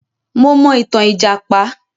Mo mọ itan lìjàpá.